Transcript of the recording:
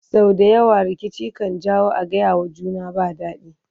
sau da yawa rikici kan janyo a gayawa juna ba daɗi